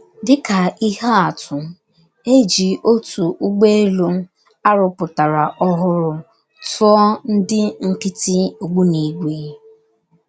Dị ka ihe atụ, e ji otu ụgbọelu a rụpụtara ọhụrụ tụọ ndị nkịtị ogbunigwé.